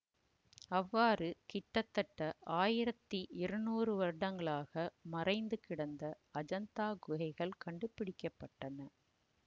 அவ்வாறு கிட்டத்தட்ட ஆயிரத்தி இருநூறு வருடங்களாக மறைந்து கிடந்த அஜந்தா குகைகள் கண்டுபிடிக்க பட்டன